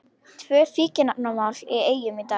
Tvö fíkniefnamál í Eyjum í dag